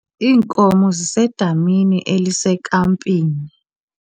Iinkomo zisedamini elisekampini.